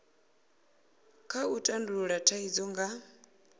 kha u tandulula thaidzo nga